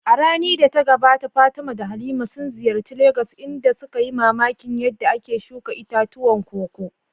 A rani da ta gabata Fatima da Halima sun ziyarci Legas inda suka yi mamakin yadda ake shuka itatuwan koko.